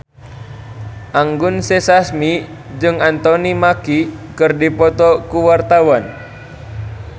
Anggun C. Sasmi jeung Anthony Mackie keur dipoto ku wartawan